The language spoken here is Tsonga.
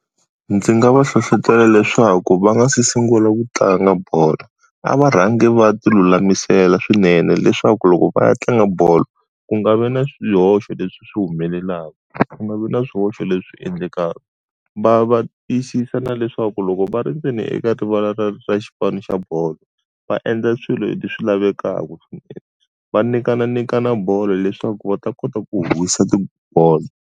Ndzi nga va hlohletela leswaku va nga se sungula ku tlanga bolo, a va rhangi va ti lulamisela swinene leswaku loko va ya tlanga bolo, ku nga vi na swihoxo leswi swi humelelaka, ku nga vi na swihoxo leswi endlekaka. Va va tiyisisa na leswaku loko va ri ndzeni eka rivala ra ra xipano xa bolo, va endla swilo swi lavekaka va nyikananyikana bolo leswaku va ta kota ku howisa tibolo.